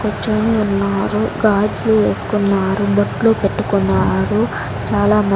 కొంచెం ఉన్నారు గాజులు వేసుకున్నారు బొట్లు పెట్టుకున్నారు చాలా మన్--